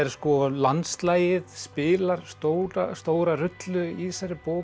að landslagið spilar stóra stóra rullu í þessari bók